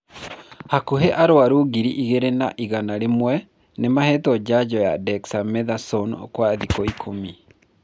Hakuhĩ arwaru ngiri igĩrĩ na igana rĩmwe nĩmahetwo njanjo ya dexamethasone kwa thikũ ikũmi